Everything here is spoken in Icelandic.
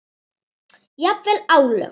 Jafnvel álög.